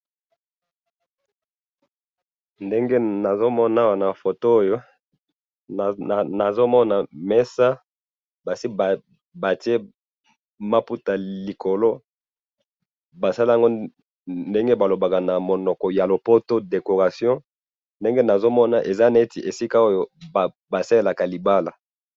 ndenge na zomona awa na photo oyo nazo mona mesa basi batie mabuta likolo basalanga ndenge balobaka na monoka ya poto decoration ndenge na zomona eza neti esika oyo basalaka libala